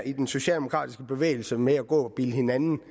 i den socialdemokratiske bevægelse med at gå og bilde hinanden